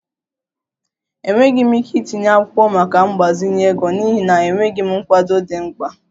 Enweghị m ike itinye akwụkwọ maka mgbazinye ego n'ihi na enweghị m nkwado dị mkpa